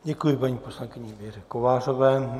Děkuji paní poslankyni Věře Kovářové.